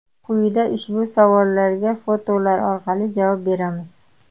Quyida ushbu savollarga fotolar orqali javob beramiz.